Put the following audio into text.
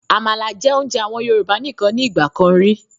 Àmàlà jẹ́ oúnjẹ àwọn Yorùbá nìkan ni ìgbàkan ríi